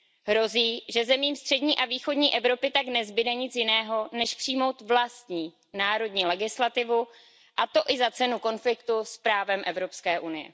Hrozí, že zemím střední a východní Evropy tak nezbyde nic jiného, než přijmout vlastní národní legislativu, a to i za cenu konfliktu s právem EU.